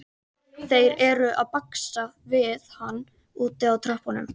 Þeir eru að baksa við hann úti á tröppunum.